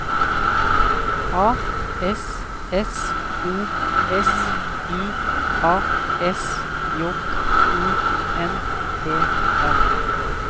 A S S O S I A S J O N E R